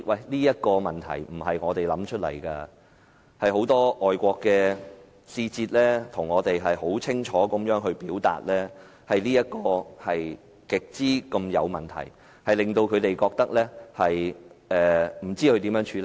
這些問題不是我們想出來的，是很多外國使節清楚地向我們表示，此事極有問題，他們不知應如何處理。